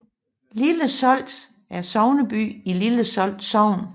Lille Solt er sogneby i Lille Solt Sogn